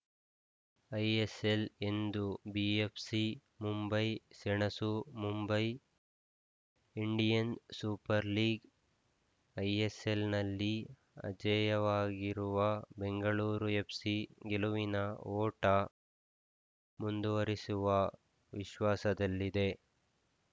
ISL ಇಂದು ಬಿಎಫ್‌ಸಿಮುಂಬೈ ಸೆಣಸು Mumbai Indian super league ಐಎಸ್‌ಎಲ್‌ನಲ್ಲಿ ಅಜೇಯವಾಗಿರುವ Bengaluru FC ಗೆಲುವಿನ ಓಟ ಮುಂದುವರಿಸುವ ವಿಶ್ವಾಸದಲ್ಲಿದೆ